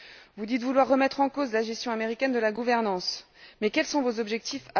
Vous dites vouloir remettre en cause la gestion américaine de la gouvernance, mais quels sont vos propres objectifs?